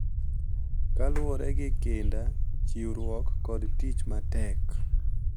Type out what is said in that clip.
Kaluwore gi kinda, chiwruok kod tich matek.